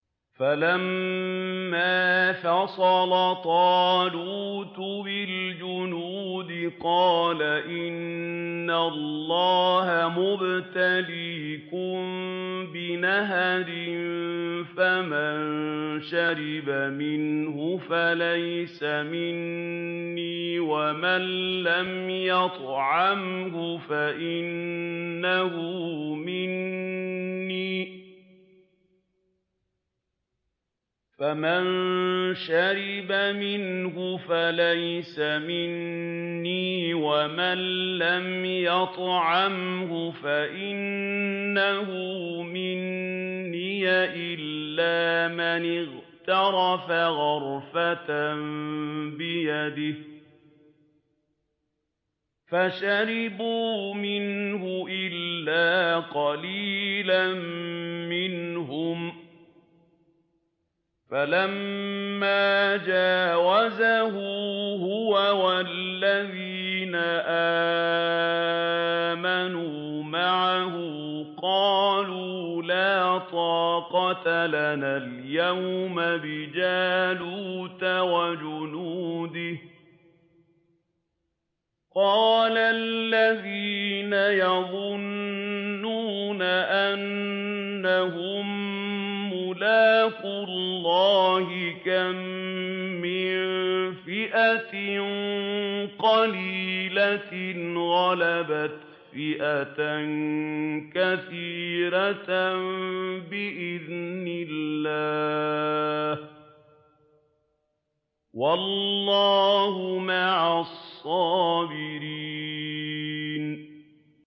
فَلَمَّا فَصَلَ طَالُوتُ بِالْجُنُودِ قَالَ إِنَّ اللَّهَ مُبْتَلِيكُم بِنَهَرٍ فَمَن شَرِبَ مِنْهُ فَلَيْسَ مِنِّي وَمَن لَّمْ يَطْعَمْهُ فَإِنَّهُ مِنِّي إِلَّا مَنِ اغْتَرَفَ غُرْفَةً بِيَدِهِ ۚ فَشَرِبُوا مِنْهُ إِلَّا قَلِيلًا مِّنْهُمْ ۚ فَلَمَّا جَاوَزَهُ هُوَ وَالَّذِينَ آمَنُوا مَعَهُ قَالُوا لَا طَاقَةَ لَنَا الْيَوْمَ بِجَالُوتَ وَجُنُودِهِ ۚ قَالَ الَّذِينَ يَظُنُّونَ أَنَّهُم مُّلَاقُو اللَّهِ كَم مِّن فِئَةٍ قَلِيلَةٍ غَلَبَتْ فِئَةً كَثِيرَةً بِإِذْنِ اللَّهِ ۗ وَاللَّهُ مَعَ الصَّابِرِينَ